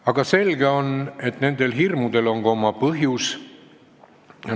Aga selge on, et nendel hirmudel on ka oma põhjus.